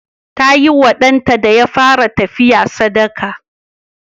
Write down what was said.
Ta yi wa ɗanta da ya fara tafiya sadaka.